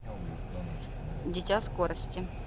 дитя скорости